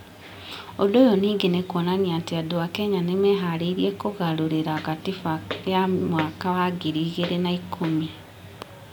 Ũndũ ũyũ ningĩ nĩ kuonania atĩ andũ a Kenya nĩ meharĩirie kũgarũrĩra Katiba ya mwaka wa ngiri igĩrĩ na ikũmi ,